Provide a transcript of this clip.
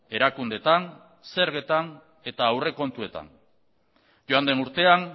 erakundeetan zergetan eta aurrekontuetan joan den urtean